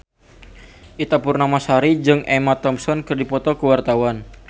Ita Purnamasari jeung Emma Thompson keur dipoto ku wartawan